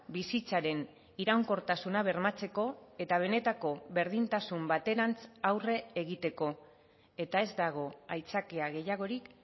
bizitzaren iraunkortasuna bermatzeko eta benetako berdintasun baterantz aurre egiteko eta ez dago aitzakia gehiagorik